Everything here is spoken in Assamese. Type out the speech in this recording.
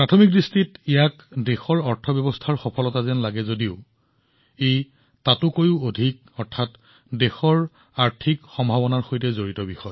প্ৰথমবাৰৰ বাবে এনে লাগে যে ই অৰ্থনীতিৰ সৈতে সম্পৰ্কিত কিন্তু ই অৰ্থনীতিতকৈ অধিক ই ভাৰতৰ শক্তি ভাৰতৰ সম্ভাৱনাৰ সৈতে সম্পৰ্কিত